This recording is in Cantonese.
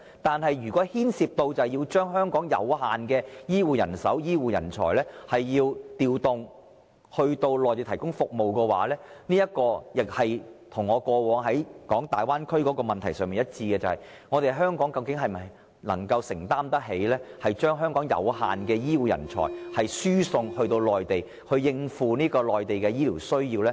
但是，如涉及將香港有限的醫護人手和人才調派至內地提供服務，這便與我過去所提及的粵港澳大灣區問題一樣：究竟香港能否承擔得起將有限的本地醫護人才輸送內地，以應付內地的醫療需要？